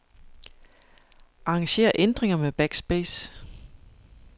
Arranger ændringer med backspace.